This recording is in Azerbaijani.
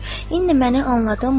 İndi məni anladınmı?